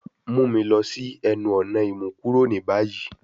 Mu mi lọ si ẹnu-ọna imukuro ni bayi